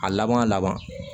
A laban laban